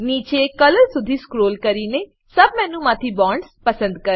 નીચે કલર સુધી સ્ક્રોલ કરીને સબ મેનુમાંથી બોન્ડ્સ પસંદ કરો